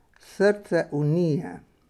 Srce Unije.